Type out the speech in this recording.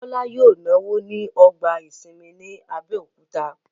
Bọ́lá yóò náwó ní ọgbà ìsinmi ní Abẹ́òkúta